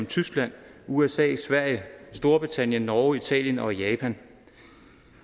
tyskland usa sverige storbritannien norge italien og japan